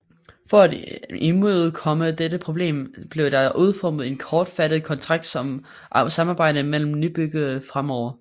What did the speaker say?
For at imødekomme dette problem blev der udformet en kortfattet kontrakt om samarbejdet mellem nybyggerne fremover